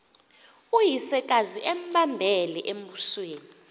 uyisekazi embambele embusweni